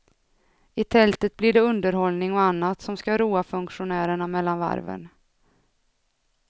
I tältet blir det underhållning och annat som ska roa funktionärerna mellan varven.